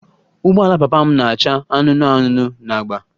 Ụgbọala papa m na-acha anụnụ anụnụ na agba